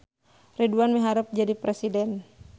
Ridwan miharep jadi presiden